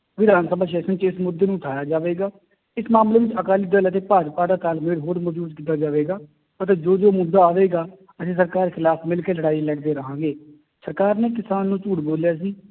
ਵਿਧਾਨ ਸਭਾ session ਚ ਇਸ ਮੁੱਦੇ ਨੂੰ ਉਠਾਇਆ ਜਾਵੇਗਾ, ਇਸ ਮਾਮਲੇ ਵਿੱਚ ਅਕਾਲੀ ਦਲ ਅਤੇ ਭਾਜਪਾ ਦਾ ਤਾਲਮੇਲ ਹੋਰ ਮਜ਼ਬੂਤ ਕੀਤਾ ਜਾਵੇਗਾ ਅਤੇ ਜੋ ਜੋ ਮੁੱਦਾ ਆਵੇਗਾ ਅਸੀਂ ਸਰਕਾਰ ਦੇ ਖਿਲਾਫ਼ ਮਿਲਕੇ ਲੜਾਈ ਲੜਦੇ ਰਹਾਂਗੇ ਸਰਕਾਰ ਨੇ ਕਿਸਾਨ ਨੂੰ ਝੂਠ ਬੋਲਿਆ ਸੀ